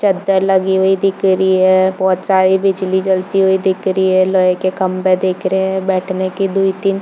चादर लगी हुई दिख रही है बहुत सारे बिजली जलती हुई दिख रही है लोहे के खम्बे दिख रहे है बैठने के दोए तीन --